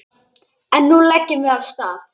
En nú leggjum við af stað!